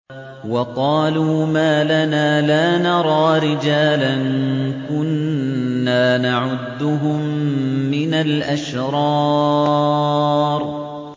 وَقَالُوا مَا لَنَا لَا نَرَىٰ رِجَالًا كُنَّا نَعُدُّهُم مِّنَ الْأَشْرَارِ